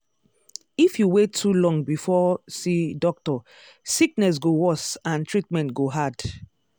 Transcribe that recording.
if you wait too long before see doctor sickness go worse and treatment go hard.